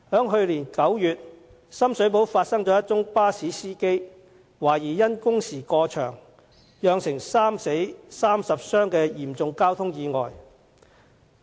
去年9月，深水埗發生一宗巴士司機懷疑因工時過長，以致釀成3死30傷的嚴重交通意外。